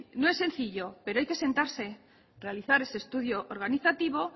no es sencillo pero hay que sentarse a realizar ese estudio organizativo